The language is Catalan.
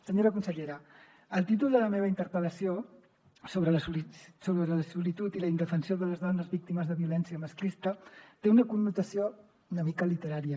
senyora consellera el títol de la meva interpel·lació sobre la solitud i la indefensió de les dones víctimes de violència masclista té una connotació una mica literària